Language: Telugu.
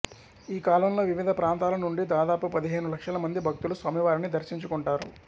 ఈ కాలంలో వివిధ ప్రాంతాల నుండి దాదాపు పదిహేను లక్షల మంది భక్తులు స్వామివారిని దర్శించుకుంటారు